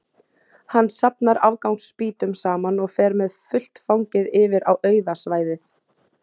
Hann safnar afgangs spýtum saman og fer með fullt fangið yfir á auða svæðið.